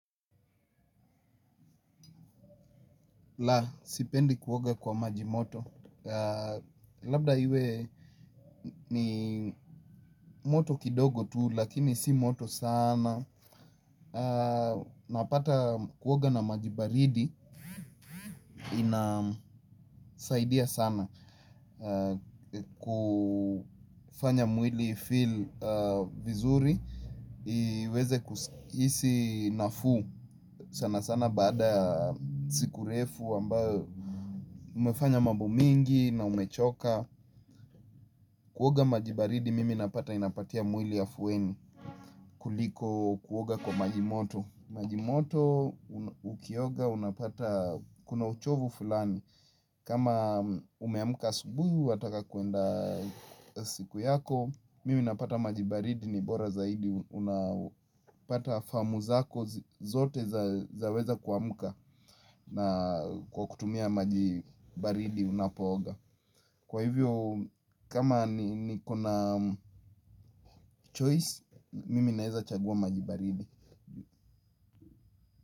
La, sipendi kuoga kwa maji moto. Labda iwe ni moto kidogo tu, lakini si moto sana. Napata kuoga na maji baridi, inasaidia sana. Kufanya mwili ifeel vizuri, iweze kuhisi nafuu. Sana sana baada ya siku refu, ambayo umefanya mambo mengi na umechoka. Kuoga maji baridi mimi napata inapatia mwili afueni kuliko kuoga kwa maji moto. Maji moto ukioga unapata kuna uchovu fulani. Kama umeamuka asubuhi wataka kuenda siku yako. Mimi napata maji baridi ni bora zaidi unapata faamu zako zote zaweza kuamuka. Na kwa kutumia maji baridi unapooga. Kwa hivyo, kama niko na choice, mimi naeza chagua maji baridi.